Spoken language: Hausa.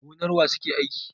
Gonar wa suke aiki?